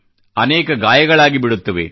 ಅನೇಕ ಗಾಯಗಳಾಗಿ ಬಿಡುತ್ತವೆ